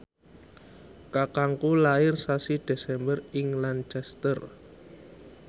kakangku lair sasi Desember ing Lancaster